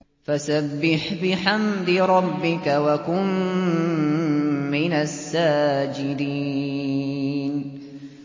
فَسَبِّحْ بِحَمْدِ رَبِّكَ وَكُن مِّنَ السَّاجِدِينَ